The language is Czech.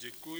Děkuji.